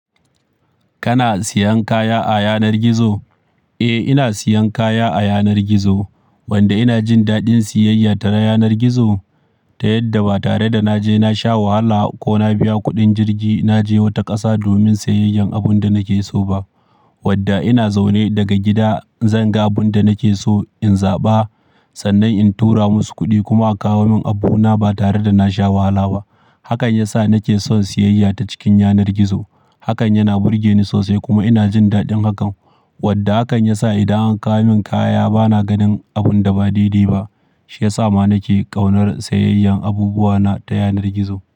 Kana siyan kaya a yanar gizo? Eh, ina siyan kaya a yanar gizo. Wanda ina jin daɗin siyayya ta yanar gizo ta yadda ba tare da na je na sha wahala ko na biya kuɗin jirgi na je wata ƙasa domin siyayyan abin da nake so ba. Wadda ina zaune daga gida, zan ga abin da nake so in zaɓa, sannan in tura musu kuɗi kuma aka kawo min abuna ba tare da na sha wahala ba. Hakan ya sa nake son siyayya ta cikin yanar gizo. Hakan yana burge ni sosai kuma ina jin daɗin hakan. Wadda hakan ya sa idan an kawo min kaya bana ganin abun da ba dai dai ba, shi ya sa ma nake ƙaunar siyayyan abubuwana ta yanar gizo.